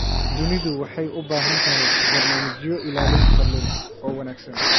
Dunidu waxay u baahan tahay barnaamijyo ilaalin kalluun oo wanaagsan.